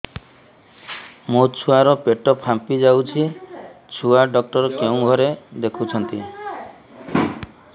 ମୋ ଛୁଆ ର ପେଟ ଫାମ୍ପି ଯାଉଛି ଛୁଆ ଡକ୍ଟର କେଉଁ ଘରେ ଦେଖୁ ଛନ୍ତି